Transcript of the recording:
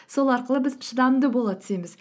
сол арқылы біз шыдамды бола түсеміз